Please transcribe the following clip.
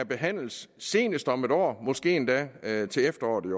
behandlet senest om et år måske endda til efteråret